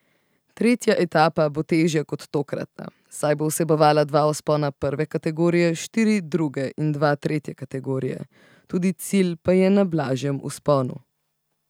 Tretja etapa bo težja kot tokratna, saj bo vsebovala dva vzpona prve kategorije, štiri druge in dva tretje kategorije, tudi cilj pa je na blažjem vzponu.